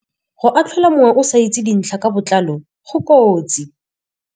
Go atlhola mongwe o sa itse dintlha ka botlalo go kotsi.